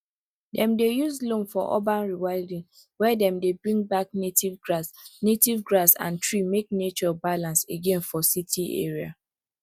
dem dey use loam for urban rewilding where dem dey bring back native grass native grass and tree make nature balance again for city area